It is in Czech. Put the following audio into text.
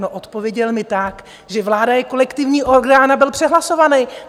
No, odpověděl mi tak, že vláda je kolektivní orgán a byl přehlasován.